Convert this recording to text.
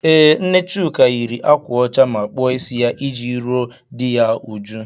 Ee, nne Chuka yiri ákwà ọcha ma kpụọ ịsị ya iji ruo dị ya uju.